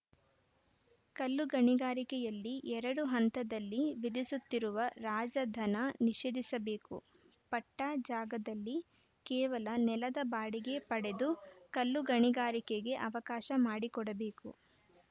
ಕಲ್ಲು ಗಣಿಗಾರಿಕೆಯಲ್ಲಿ ಎರಡು ಹಂತದಲ್ಲಿ ವಿಧಿಸುತ್ತಿರುವ ರಾಜಧನ ನಿಷೇಧಿಸಬೇಕು ಪಟ್ಟಾಜಾಗದಲ್ಲಿ ಕೇವಲ ನೆಲದ ಬಾಡಿಗೆ ಪಡೆದು ಕಲ್ಲು ಗಣಿಗಾರಿಕೆಗೆ ಅವಕಾಶ ಮಾಡಿಕೊಡಬೇಕು